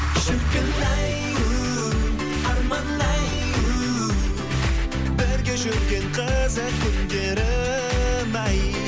шіркін ай у арман ай у бірге жүрген қызық күндерім ай